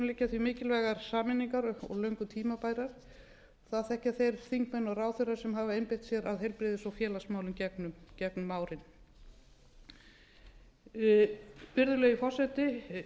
liggja því mikilvægar sameiningar og löngu tímabærar það þekkja þeir þingmenn og ráðherrar sem hafa einbeitt sér að heilbrigðis og félagsmálum gegnum árin virðulegi forseti